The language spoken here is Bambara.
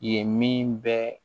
Yen min bɛ